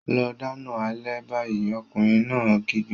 Lọ dáná alẹ́ báyìí! Ọkùnrin náà kígbe.